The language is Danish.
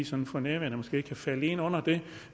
som for nærværende måske kan falde ind under det